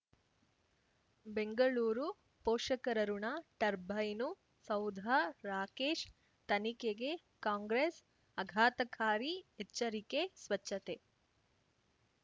ಬೆಂಗಳೂರು ಪೋಷಕರಋಣ ಟರ್ಬೈನು ಸೌಧ ರಾಕೇಶ್ ತನಿಖೆಗೆ ಕಾಂಗ್ರೆಸ್ ಅಘಾತಕಾರಿ ಎಚ್ಚರಿಕೆ ಸ್ವಚ್ಛತೆ